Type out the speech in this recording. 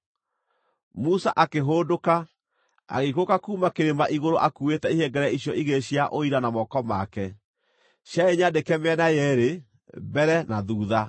Musa akĩhũndũka, agĩikũrũka kuuma kĩrĩma igũrũ akuuĩte ihengere icio igĩrĩ cia Ũira na moko make. Ciarĩ nyandĩke mĩena yeerĩ, mbere na thuutha.